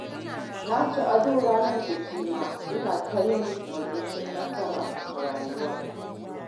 Na ci ado ranar bikina, ina ta murmushin yin nasarar rayuwa